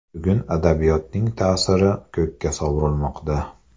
Bugun adabiyotning ta’siri ko‘kka sovurilmoqda.